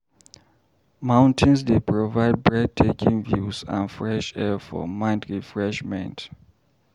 Mountains dey provide breathtaking views and fresh air for mind refreshment.